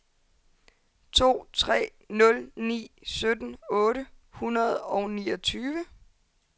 to tre nul ni sytten otte hundrede og niogtyve